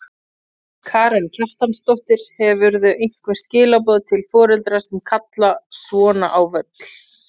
Karen Kjartansdóttir: Hefurðu einhver skilaboð til foreldra sem kalla svona á völl?